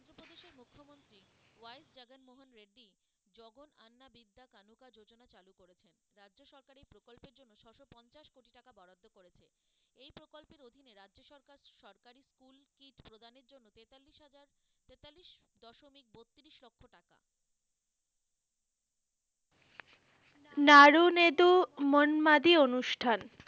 নাড়ু-নেদু মন মাদী অনুষ্ঠান,